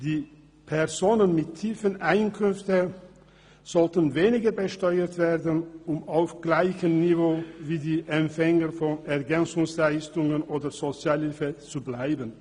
Die Personen mit tiefen Einkünften sollten weniger besteuert werden, um auf gleichem Niveau wie die Empfänger von Ergänzungsleistungen oder Sozialhilfe zu bleiben.